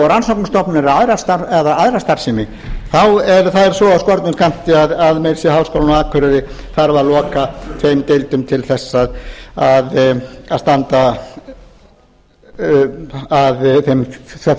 rannsóknarstofnanir eða aðra starfsemi þá er það svo af skornum skammti að meira að segja háskólinn á akureyri þarf að loka þeim deildum til að standa að þeim